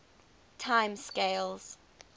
time scales